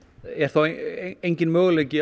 er enginn möguleiki